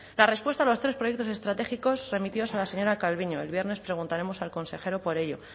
la respuesta a los tres proyectos estratégicos remitidos a la señora calviño el viernes preguntaremos al consejero por ello